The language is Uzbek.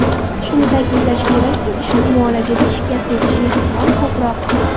Shuni ta’kidlash kerakki, ushbu muolajada shikast yetishi ehtimoli ko‘proq.